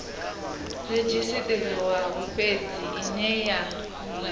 redzhisiṱarisiwaho fhedzi ine ya nga